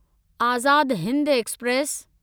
Azad Hind express